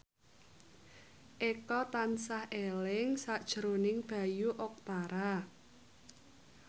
Eko tansah eling sakjroning Bayu Octara